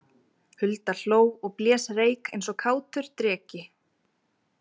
Hulda hló og blés reyk eins og kátur dreki.